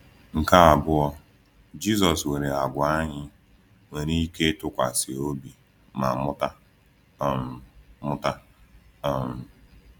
Nke abụọ, Jisọs nwere àgwà anyị nwere ike ịtụkwasị obi ma mụta. um mụta. um